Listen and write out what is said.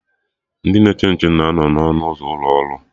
Ndị na-eche nche na anọ na ọnụ ụzọ ụlọ ọrụ